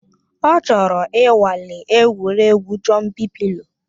Ọ chọrọ ịnwale egwuregwu Jọmpị pịlo